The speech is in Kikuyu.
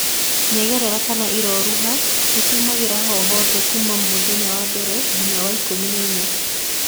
Nyengerera kana iroruha nĩciumagĩra hohothe kuma mũthenya wa mbere ginya wa ikũmi na inya.